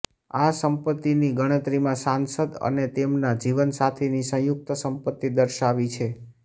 આ સંપત્તિની ગણતરીમાં સાંસદ અને તેમના જીવનસાથીની સંયુક્ત સંપત્તિ દર્શાવી છે